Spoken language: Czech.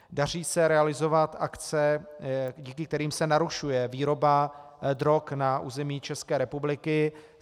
Daří se realizovat akce, díky kterým se narušuje výroba drog na území České republiky.